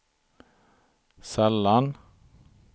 sällan